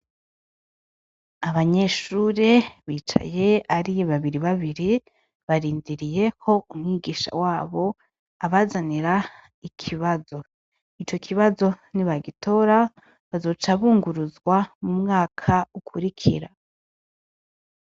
Abanyeshure bicaye ari babiri babiri barindiriye ko umwigisha wabo abazanira ikibazo, ico kibazo nibagitora bazoca bunguruzwa mu mwaka ukurikira.